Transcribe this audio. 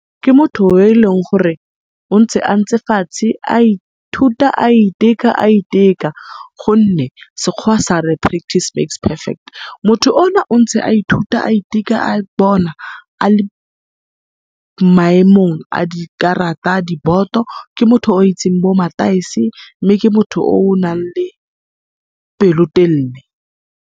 Ke motho yo e leng gore o ntse a ntse fatshe a ithuta, a iteka, a iteka, gonne Sekgoa sa re practice makes perfect. Motho ona o ntse a ithuta a iteka, a bona a le maemong a dikarata a diboto, ke motho o itseng bo mataese, mme ke motho o o nang le pelotelele.